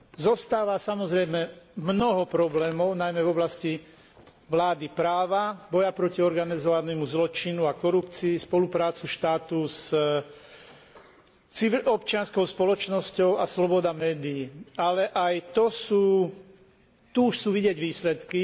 Zostáva, samozrejme, mnoho problémov, najmä v oblasti vlády práva, boja proti organizovanému zločinu a korupcii, spolupráce štátu s občianskou spoločnosťou a sloboda médií, ale aj tu už sú vidieť výsledky.